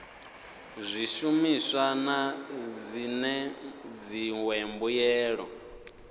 zwishumiswa na zwine dziṅwe mbuelo